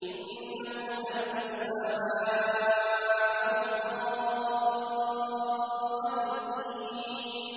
إِنَّهُمْ أَلْفَوْا آبَاءَهُمْ ضَالِّينَ